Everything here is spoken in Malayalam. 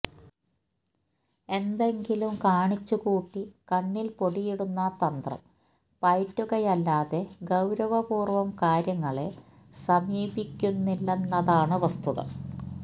എന്തെങ്കിലും കാണിച്ചുകൂട്ടി കണ്ണില് പൊടിയിടുന്ന തന്ത്രം പയറ്റുകയല്ലാതെ ഗൌരവപൂര്വം കാര്യങ്ങളെ സമീപിക്കുന്നില്ലെന്നതാണ് വസ്തുത